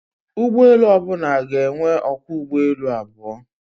Ụgbọelu ọbụla ga-enwe ọkwọ ụgbọelu abụọ